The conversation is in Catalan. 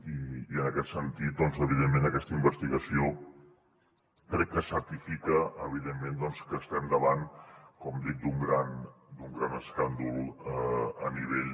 i en aquest sentit aquesta investigació crec que certifica evidentment que estem davant com dic d’un gran escàndol a nivell